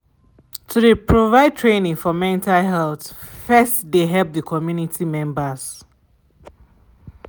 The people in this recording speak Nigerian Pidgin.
to de provide training for mental health first de help de community members/